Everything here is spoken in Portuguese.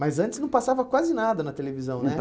Mas antes não passava quase nada na televisão, né? Não